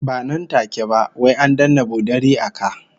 Ba nan take ba, wai an danne bodari a ka